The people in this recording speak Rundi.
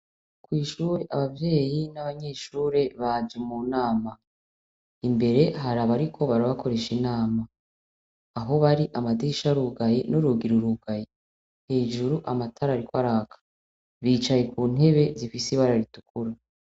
Kw'ishure abavyeyi n'abanyeshure baje mu nama imbere hari aba, ariko barabakoresha inama aho bari amadisha rugayi n'urugiru rugayi hejuru amatara riko araka bicaye ku ntebe zifise ibararitukuru.